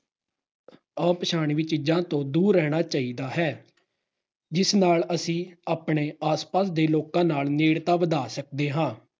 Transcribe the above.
ਅਪਛਾਨਵੀਂ ਚੀਜਾਂ ਤੋਂ ਦੂਰ ਰਹਿਣਾ ਚਾਹੀਦਾ ਹੈ ਜਿਸ ਨਾਲ ਅਸੀਂ ਆਪਣੇ ਆਸ-ਪਾਸ ਦੇ ਲੋਕਾਂ ਨਾਲ ਨੇੜਤਾ ਵਧਾ ਸਕਦੇ ਹਾਂ।